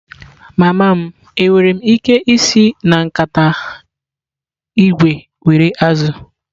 Mama m, enwere m ike isi na nkata ígwè were azụ̀?